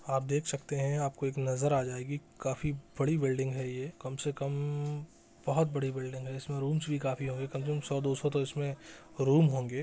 आप देख सकते है आपको एक नज़र आ जायेगी काफी बड़ी बिल्डिंग है ये कम से कम बहुत बड़ी बिल्डिंग है इसमें रूम्स भी काफी होंगे कम से कम सौ-दो सौ तो इसमें रूम होंगे।